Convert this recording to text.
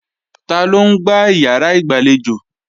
Taló ń gbá ìyàrá ìgbàlejò?